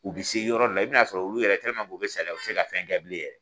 U be se yɔrɔ dɔ la, i bi na sɔrɔ olu yɛrɛ k'u be saliya u te se ka fɛn kɛ bilen yɛrɛ.